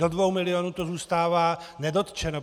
Do 2 milionů to zůstává nedotčeno.